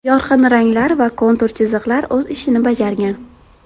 Yorqin ranglar va kontur chiziqlar o‘z ishini bajargan.